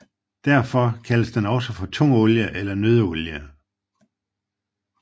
Derfor kaldes den også for tungolie eller nøddeolie